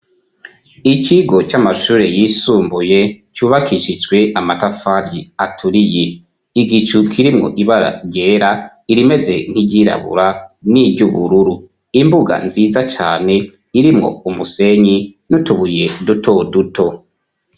icigo c'amashure yisumbuye cubakishijwe amatafari aturiye igicu kirimwo ibara ryera irimeze nk'iryirabura n'iry'ubururu imbuga nziza cane irimwo umusenyi nutubuye duto duto